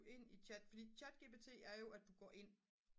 ind i chat fordi chatgpt det er jo hvor du går ind